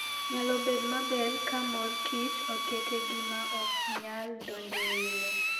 Nyalo bedo maber ka mor kich oket e gima ok nyal donjo e iye.